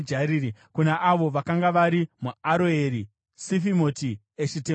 kuna avo vakanga vari muAroeri, Sifimoti, Eshitemoa